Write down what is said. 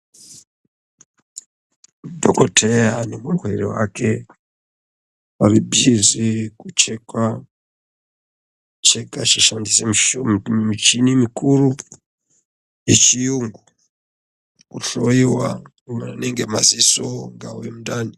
Dhokoteya nemurwere wake vari bhizi kuchekwa, kucheka vachishandisa michini mukuru wechiyungu kuhloiwa anenge madziso ungave mundani.